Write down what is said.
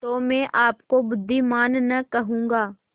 तो मैं आपको बुद्विमान न कहूँगा